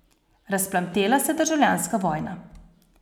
Razplamtela se je državljanska vojna.